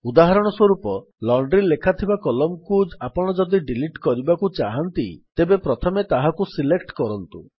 ଉଦାହରଣ ସ୍ୱରୂପ ଲଣ୍ଡ୍ରି ଲେଖାଥିବା Columnକୁ ଆପଣ ଯଦି ଡିଲିଟ୍ କରିବାକୁ ଚାହାଁନ୍ତି ତେବେ ପ୍ରଥମେ ତାହାକୁ ସିଲେକ୍ଟ୍ କରନ୍ତୁ